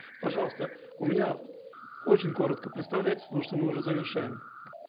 пожалуйста у меня очень коротко представляйтесь потому что мы уже завершаем